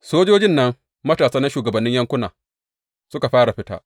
Sojojin nan matasa na shugabannin yankuna suka fara fita.